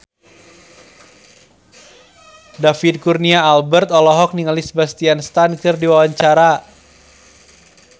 David Kurnia Albert olohok ningali Sebastian Stan keur diwawancara